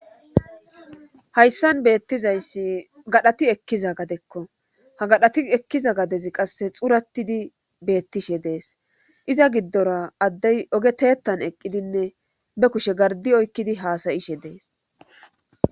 hayssan beettizayssi gadhati ekkiza gadekko ha gadhati ekkiza gadezi qasse xuratidi beettishe dees iza giddora addey ogeteettan eqqidinne be kushe gardi oykkidi haasayishe dees